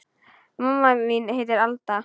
Mamma mín heitir Alda.